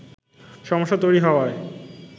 সমস্যা তৈরি হওয়ায়